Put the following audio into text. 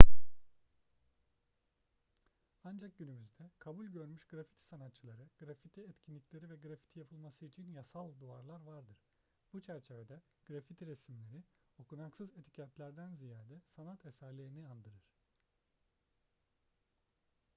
ancak günümüzde kabul görmüş grafiti sanatçıları grafiti etkinlikleri ve grafiti yapılması için yasal duvarlar vardır bu çerçevede grafiti resimleri okunaksız etiketlerden ziyade sanat eserlerini andırır